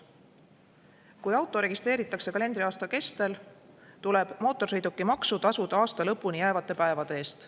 Kui auto registreeritakse kalendriaasta kestel, tuleb mootorsõidukimaksu tasuda aasta lõpuni jäävate päevade eest.